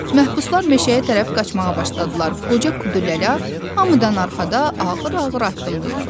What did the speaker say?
Məhbuslar meşəyə tərəf qaçmağa başladılar, qoca Qudurlu hamıdan arxada ağır-ağır addımlayırdı.